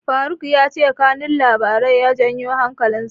Faruk ya ce kanun labarin ya janyo hankalinsa.